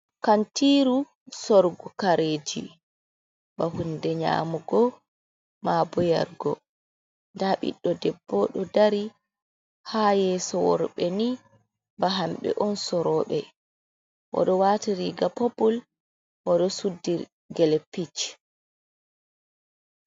Kantiiru sorugo kareji ba hunde nyamugo mabo yarugo nda biɗdo debbo ɗo dari ha yeso worɓe ni ba hamɓe on soroɓe oɗo watiriga popul oɗo suddi gele pitch.